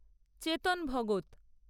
Chetan Bhagat